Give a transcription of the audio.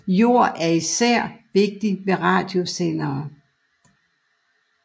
Jord er især vigtig ved radiosendere